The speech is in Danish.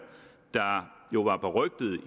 der jo var berygtet i